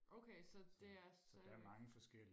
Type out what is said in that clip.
okay så det er slet ikke